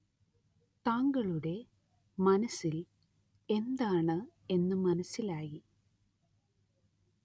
താങ്കളുടെ മനസ്സില്‍ എന്താണ് എന്ന് മനസ്സിലായി